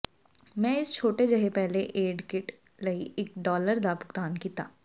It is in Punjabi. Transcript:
ਮੈਂ ਇਸ ਛੋਟੇ ਜਿਹੇ ਪਹਿਲੇ ਏਡ ਕਿੱਟ ਲਈ ਇੱਕ ਡਾਲਰ ਦਾ ਭੁਗਤਾਨ ਕੀਤਾ